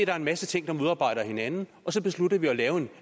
er en masse ting der modarbejder hinanden og så beslutter vi at lave en